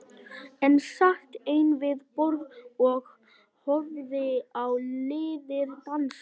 Ég sat ein við borð og horfði á liðið dansa.